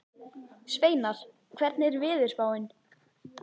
Sveinar, hvernig er veðurspáin?